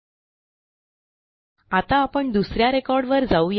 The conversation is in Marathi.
एलटीपॉजेग्ट आता आपण दुस या रेकॉर्ड वर जाऊ या